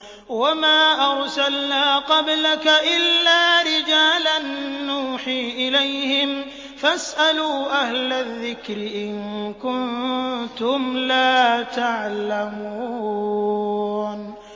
وَمَا أَرْسَلْنَا قَبْلَكَ إِلَّا رِجَالًا نُّوحِي إِلَيْهِمْ ۖ فَاسْأَلُوا أَهْلَ الذِّكْرِ إِن كُنتُمْ لَا تَعْلَمُونَ